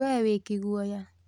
We wĩ kĩguoya